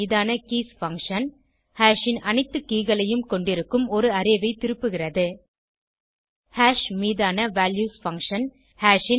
hash மீதான keys function hash ன் அனைத்து கே களையும் கொண்டிருக்கும் ஒரு அரே ஐ திருப்புகிறது ஹாஷ் மீதான வால்யூஸ் பங்ஷன்